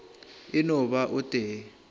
e no ba o tee